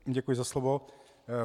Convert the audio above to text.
Děkuji za slovo.